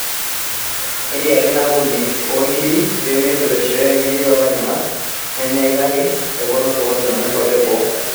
Etiaki ina ampuni oonkiri pemeingor eishooyo inkiri too lainyangak lenyena ake kake pepoona osokoni lenye inkwapi e boo